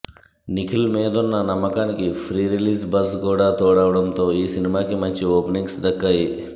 నిఖిల్ మీదున్న నమ్మకానికి pre release buzz కూడా తోడవడంతో ఈ సినిమాకి మంచి ఓపెనింగ్స్ దక్కాయి